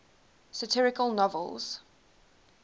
satirical novels